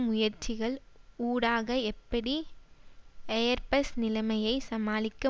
முயற்சிகள் ஊடாக எப்படி எயர்பஸ் நிலைமையை சமாளிக்க